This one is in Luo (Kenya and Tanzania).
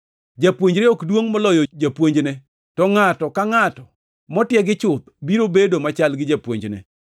Japuonjre ok duongʼ moloyo japuonjne, to ngʼato ka ngʼato motiegi chuth biro bedo machal gi japuonjne.